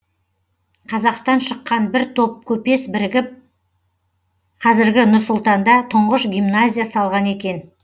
қазақтан шыққан бір топ көпес бірігіп қазіргі нұр сұлтанда тұңғыш гимназия салған екен